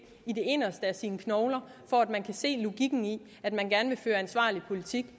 i det inderste af sine knogler for at kunne se logikken i at man gerne vil føre en ansvarlig politik